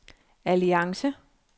alliance